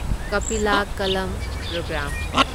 Kapila Kalam programme